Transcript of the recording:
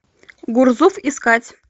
гурзуф искать